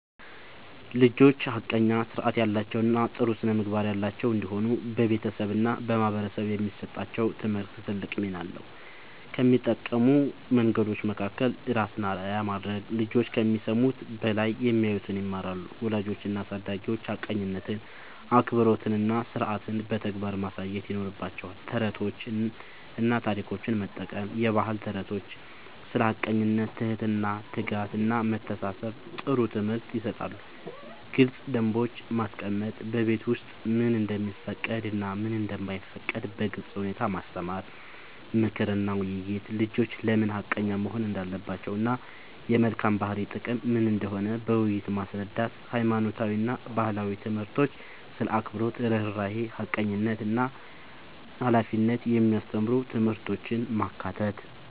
ልጆች ሐቀኛ፣ ሥርዓት ያላቸው እና ጥሩ ስነ-ምግባር ያላቸው እንዲሆኑ በቤተሰብ እና በማህበረሰብ የሚሰጣቸው ትምህርት ትልቅ ሚና አለው። ከሚጠቅሙ መንገዶች መካከል፦ ራስን አርአያ ማድረግ፦ ልጆች ከሚሰሙት በላይ የሚያዩትን ይማራሉ። ወላጆች እና አሳዳጊዎች ሐቀኝነትን፣ አክብሮትን እና ሥርዓትን በተግባር ማሳየት ይኖርባቸዋል። ተረቶችን እና ታሪኮችን መጠቀም፦ የባህል ተረቶች ስለ ሐቀኝነት፣ ትህትና፣ ትጋት እና መተሳሰብ ጥሩ ትምህርት ይሰጣሉ። ግልጽ ደንቦች ማስቀመጥ፦ በቤት ውስጥ ምን እንደሚፈቀድ እና ምን እንደማይፈቀድ በግልጽ ሁኔታ ማስተማር። ምክር እና ውይይት፦ ልጆች ለምን ሐቀኛ መሆን እንዳለባቸው እና የመልካም ባህሪ ጥቅም ምን እንደሆነ በውይይት ማስረዳት። ሃይማኖታዊ እና ባህላዊ ትምህርቶች ስለ አክብሮት፣ ርህራሄ፣ ሐቀኝነት እና ሃላፊነት የሚያስተምሩ ትምህርቶችን ማካተት።